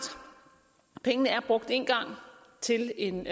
brugt én gang til en